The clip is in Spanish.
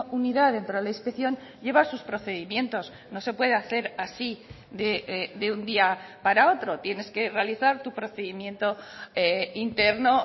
unidad dentro de la inspección lleva sus procedimientos no se puede hacer así de un día para otro tienes que realizar tu procedimiento interno